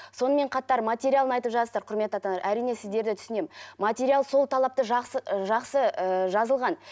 сонымен қатар материалын айтып жатсыздар құрметті ата аналар әрине сіздерді түсінемін материал сол талапты жақсы жақсы ыыы жазылған